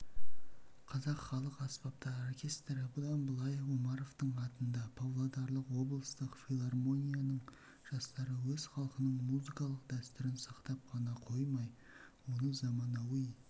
қазақ халық аспаптар оркестрі бұдан былай омаровтың атында павлодарлық облыстық филармонияның жастары өз халқының музыкалық дәстүрін сақтап қана қоймай оны заманауи